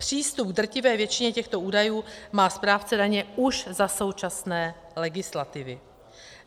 Přístup k drtivé většině těchto údajů má správce daně už za současné legislativy.